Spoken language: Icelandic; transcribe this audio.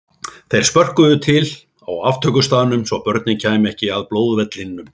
Þeir spörkuðu til á aftökustaðnum svo börnin kæmu ekki að blóðvellinum.